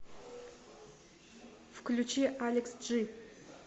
включи алекс джи